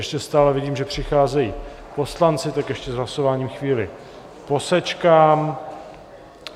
Ještě stále vidím, že přicházejí poslanci, tak ještě s hlasováním chvíli posečkám.